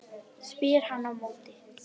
spyr hann á móti.